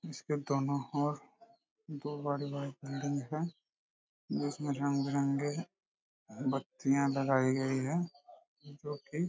इसके दोनों ओर दो बड़ी बड़ी बिल्डिंग है जिसमे रंगबिरंगी बत्तिया लगाई गई है जो कि --